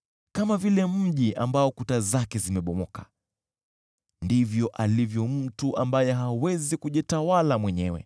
Kama vile mji ambao kuta zake zimebomoka ndivyo alivyo mtu ambaye hawezi kujitawala mwenyewe.